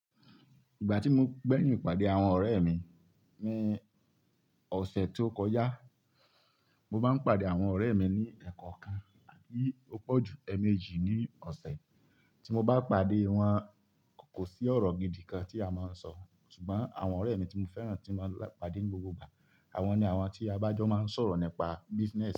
Ìgbà tí mo gbẹ́yìn ìpàdé àwọn ọ̀rẹ́ mi ní ọ̀sẹ̀ tó kọjá, mo máa ń pàdé àwọn ọ̀rẹ́ mi ní ẹ̀ẹ̀kọ̀kan àbí púpọ̀ ju èèmejì ní ọ̀sẹ̀. Tí mo bá pàdé wọn kò sí ọ̀rọ̀ gidi kan tí a máa ń sọ, ṣùgbọ́n àwọn ọ̀rẹ́ mi tí mo fẹ́ràn tí máa ń pàdé mi gbogbo ìgbà. Àwọn ni àwọn tí a bá jọ máa ń sọ̀rọ̀ nípa business.